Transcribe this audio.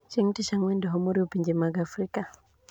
Chieng` Tich Ang`wen, doho moriwo pinje mag Afrika